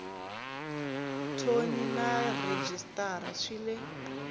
thoni na rhejisitara swi le